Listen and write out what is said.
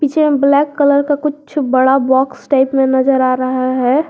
Same black colour का कुछ बड़ा बॉक्स टाइप में नजर आ रहा है।